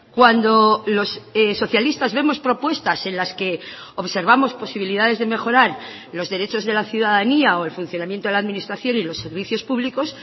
cuando los socialistas vemos propuestas en las que observamos posibilidades de mejorar los derechos de la ciudadanía o el funcionamiento de la administración y los servicios públicos